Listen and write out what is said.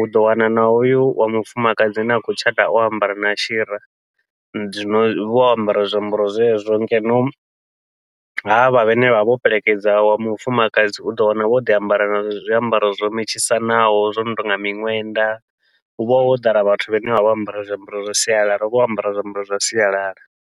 uḓo wana na hoyu wa mufumakadzi ane a khou tshata o ambara na shira. Zwino huvha ho ambara zwiambaro zwezwo, ngeno havha vhane vhavha vho fhelekedza wa mufumakadzi uḓo wana vho ḓi ambara na zwiambaro zwo metshisanaho zwo no tonga miṅwenda, huvha ho ḓala vhathu vhane vha vha vho ambara zwiambaro zwa sialala huvha ho ambariwa zwiambaro zwa sialala.